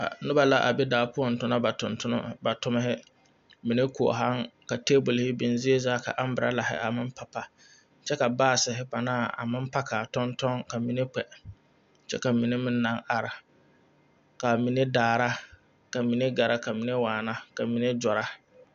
Noba la a be daa poɔ tona ba tontone ba tommihi ba mine koɔhaŋ ka tebole biŋ zie zaa ka aambɛralahi aŋ maŋ papa kyɛ ka paasehi panaa a meŋ Kaani a tɔnneka mine kpɛ kyɛ ka mine meŋ naŋ are ka a mine daara ka mine gara ka m in ne waana ka mine gyɔra.